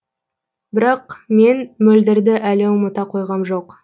бірақ мен мөлдірді әлі ұмыта қойғам жоқ